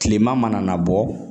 Kilema mana bɔ